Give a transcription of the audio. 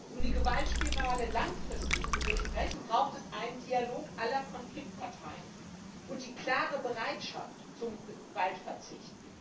Um die Gewaltspirale langfristig zu durchbrechen, braucht es einen Dialog aller Konfliktparteien und die klare Bereitschaft zum Gewaltverzicht.